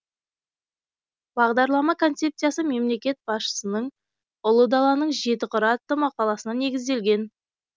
бағдарлама концепциясы мемлекет басшысының ұлы даланың жеті қыры атты мақаласына негізделген